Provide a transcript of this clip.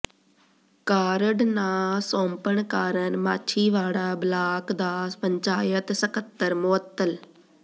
card ਨਾ ਸੌਂਪਣ ਕਾਰਨ ਮਾਛੀਵਾੜਾ ਬਲਾਕ ਦਾ ਪੰਚਾਇਤ ਸਕੱਤਰ ਮੁਅੱਤਲ